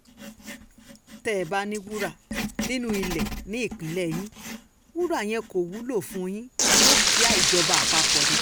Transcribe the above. tẹ́ ẹ bá ní wúrà nínú ilé ní ìpínlẹ̀ yín wúrà yẹn kò wúlò fún yín dúkìá ìjọba àpapọ̀ ni